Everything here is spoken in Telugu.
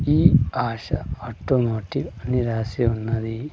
ఈ ఆశ ఆటోమేటిక్ అని రాసి ఉన్నాది.